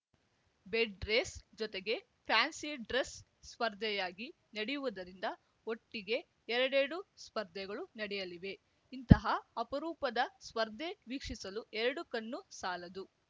bed race ಜೊತೆಗೆ fancy dress ಸ್ಪರ್ಧೆಯಾಗಿ ನಡೆಯುವುದರಿಂದ ಒಟ್ಟಿಗೆ ಎರಡೆರಡು ಸ್ಪರ್ಧೆಗಳು ನಡೆಯಲಿವೆ ಇಂತಹ ಅಪರೂಪದ ಸ್ಪರ್ಧೆ ವೀಕ್ಷಿಸಲು ಎರಡು ಕಣ್ಣು ಸಾಲದು